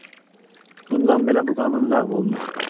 Bundan belə bu qanun ləğv olunur.